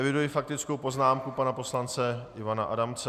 Eviduji faktickou poznámku pana poslance Ivana Adamce.